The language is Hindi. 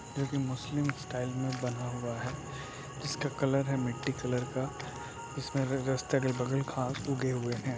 जोकि मुस्लिम स्टाइल में बना हुआ है जिसका कलर है मिट्टी कलर का जिसमें अगल-बगल घांस लगे हुए हैं।